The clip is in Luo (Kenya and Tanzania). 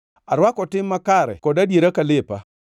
Arwako tim makare kod adiera ka lepa.